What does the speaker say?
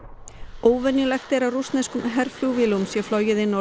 óvenjulegt er að rússneskum herflugvélum sé flogið inn á